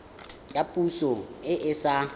ya poso e e sa